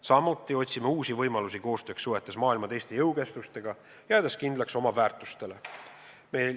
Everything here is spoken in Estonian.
Samuti otsime uusi võimalusi koostööks suhetes maailma teiste jõukeskustega, jäädes kindlaks oma väärtustele.